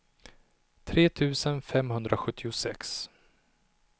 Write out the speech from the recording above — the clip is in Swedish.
tre tusen femhundrasjuttiosex